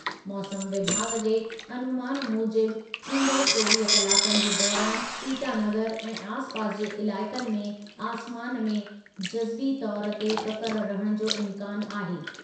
मौसमु विभाॻु जे अनूमानु मूजिबि ईंदड़ु चोवीह कलाकनि जे दौरानि ईटानगर ऐं आसिपास जे इलाइक़नि में आसमान में जज़वी तौर ते ककर रहणु जो इम्कानु आहे।